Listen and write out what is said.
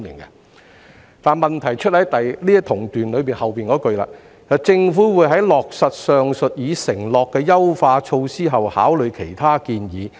不過，問題是局長在同段的後幾句指出"政府會在落實上述已承諾的優化措施後考慮其他建議"。